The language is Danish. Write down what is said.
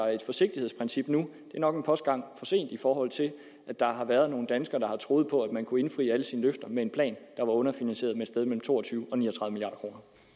i et forsigtighedsprincip nu er nok en postgang for sent i forhold til at der har været nogle danskere der har troet på at man kunne indfri alle sine løfter med en plan der var underfinansieret med et sted mellem to og tyve og ni